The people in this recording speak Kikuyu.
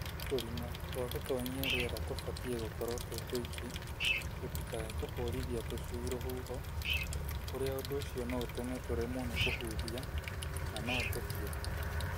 Tũrima twa gũtonyia rĩera tũtibatiĩ gũkorwo twĩ tũingĩ tũtikae kũhũrithia tũcui rũhuho kũrĩa ũndũ ũcio no ũtũme tũremwo nĩ kũhuhia na no tũkue.